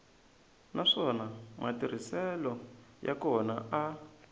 naswona matirhiselo ya kona a